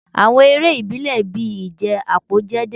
Awọn ere ibile bii ije apo jẹ deede